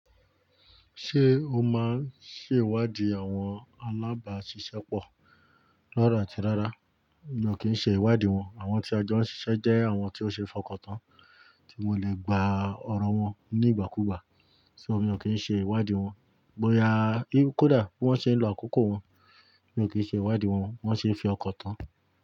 Ṣé o máa ń ṣe ìwádìí àwọn alábàásisẹ́pọ̀? Rára àti rára, mi ò kì í ṣe ìwádìí wọn. Àwọn tí a jọ ń ṣiṣẹ́ jẹ́ àwọn tí ó ṣe é fọkàntán, tí mo le gba ọ̀rọ̀ wọn ní ìgbàkúùgbà, so mi ò kí ń ṣe ìwádìí wọn. Bóyá kódà wọ́n ṣe ń lo àkókò wọn, mi ò kí ń ṣe ìwádìí wọn. Wọn ṣe ń fi ọkan tán.